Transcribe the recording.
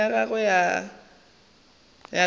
ya gagwe e thoma go